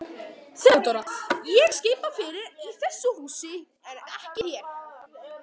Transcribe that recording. THEODÓRA: Ég skipa fyrir í þessu húsi en ekki þér.